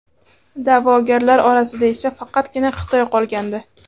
Da’vogarlar orasida esa faqatgina Xitoy qolgandi.